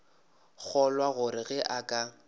kgolwa gore ge a ka